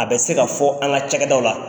A bɛ se ka fɔ an ka cakɛdaw la.